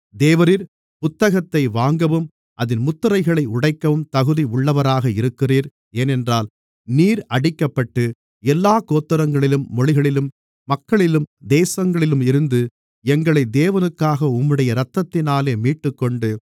தேவரீர் புத்தகத்தை வாங்கவும் அதின் முத்திரைகளை உடைக்கவும் தகுதி உள்ளவராக இருக்கிறீர் ஏனென்றால் நீர் அடிக்கப்பட்டு எல்லாக் கோத்திரங்களிலும் மொழிகளிலும் மக்களிலும் தேசங்களிலும் இருந்து எங்களை தேவனுக்காக உம்முடைய இரத்தத்தினாலே மீட்டுக்கொண்டு